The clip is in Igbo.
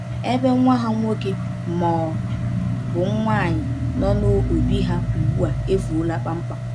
Ebe nwa ha nwoke ma ọ bụ nwaanyị nọbu n’obi ha, ugbu a efuola kpamkpam.